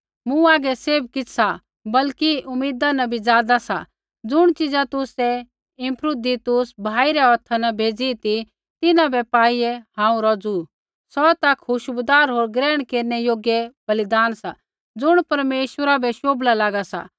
मूँ हागै सैभ किछ़ सा बल्कि उमीदा न भी ज़ादा सा ज़ुण चिजा तुसै इपफ्रुदीतुस भाई रै हौथा न भेजी ती तिन्हां बै पाईआ हांऊँ रौज़ु सौ ता खुशबूदार होर ग्रहण केरनै योग्य बलिदान सा ज़ुण परमेश्वरा बै शोभला लागा सा